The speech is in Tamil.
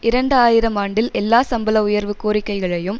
இரண்டு ஆயிரம் ஆண்டில் எல்லா சம்பள உயர்வு கோரிக்கைகளையும்